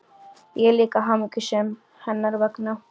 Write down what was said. Ég er líka hamingjusöm hennar vegna.